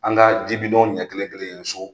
An ka ji ɲɛ kelen kelen so.